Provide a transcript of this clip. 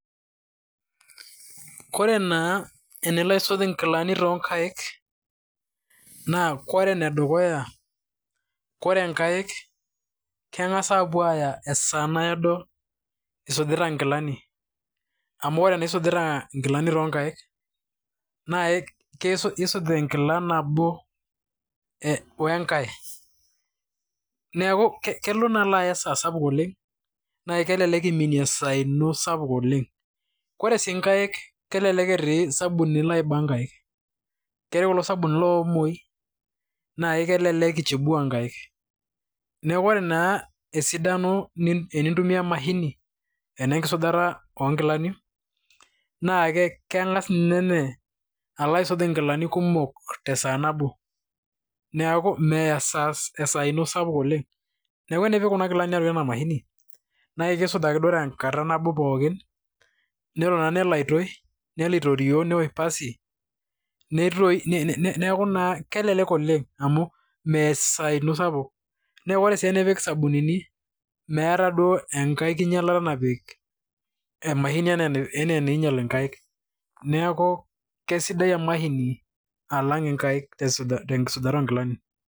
Kore naa enalo aisuji nkilani too nkaik naa koree enedukuya, koree nkaik keng'as apuo ayaa esaa naado isujita nkilani, amu ore tenisujita nkilani toonkaik na isuj enkila nabo wenkae, neeku kelo naa aya esaa sapuk oleng naa kelelek iminie esaa ino sapuko oleng. Ore sii nkaik, kelelek etii sabunini oiba nkaik, keetai kulo sabunini loo omoi naa kelelek ichubua nkaik. Neeku ore naa esidani tenintumia emashini enenkisujata onkilani naa keng'as ninye alo aisuj inkilani kumok tee saa nabo, neeku meya esaa ino sapuk oleng. Neeku tenipik kuna kilanik atua ena mashini, neku kisuji naji ake pookin tenkata nabo pookin. Neton nelo aitoi, nelo aitorio neosh pasi, neeku naa kelelek oleng, amu meya esaa ino sapuk. Neku ore sii pipik isabunini, meeta duo enkai kinyalata napik emashini ena enainyal inkaik, neeku, keisidai emashini alang inkaik tenkisujata onkilani.